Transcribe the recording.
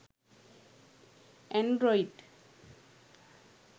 android